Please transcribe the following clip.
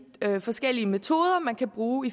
forskellige metoder man kan bruge